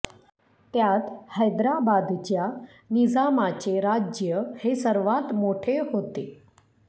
त्यात हैदराबादच्या निजामाचे राज्य हे सर्वात मोठे होते